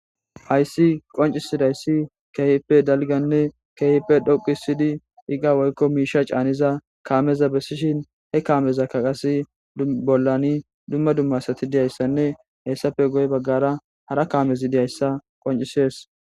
Haysi qonc'isizaysi kehipe dalgane kehipe dhoqisidi iqa woyko misha c'aniza kameza besishe he kameka qasi bolani duma duma asati diyaysane hesape guye bagara hara kamezi diyaysa qonc'ses.